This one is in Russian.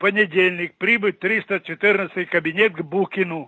понедельник прибыть в триста четырнадцатый кабинет к букину